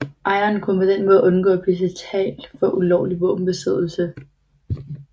Ejerne kunne på den måde undgå at blive tiltalt for ulovlig våbenbesiddelse